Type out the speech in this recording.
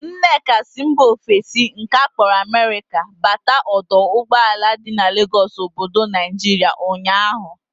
Nneka si mba ofesi nke akpọrọ Amerika bata ọdọ ụgbọala dị n'Legọsụ obodo Naijiria ụnyaahụ